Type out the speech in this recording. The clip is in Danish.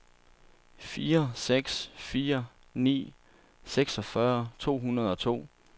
fire seks fire ni seksogfyrre to hundrede og to